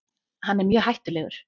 Hann er mjög hættulegur.